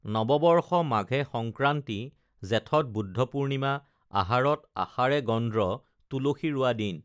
নৱবৰ্ষ মাঘে সংক্ৰান্তি জেঠত বুদ্ধ পুৰ্ণিমা আহাৰত আষাড়ে গন্দ্ৰ তুলসী ৰোৱা দিন